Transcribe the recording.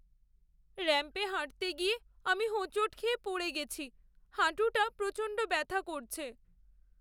র‍্যাম্পে হাঁটতে গিয়ে আমি হোঁচট খেয়ে পড়ে গেছি। হাঁটুটা প্রচণ্ড ব্যাথা করছে।